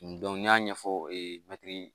n'i y'a ɲɛfɔ ee mɛtiri